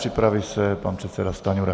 Připraví se pan předseda Stanjura.